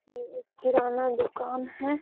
ये एक किराना दुकान है।